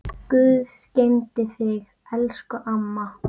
Guð geymi þig, elsku amma.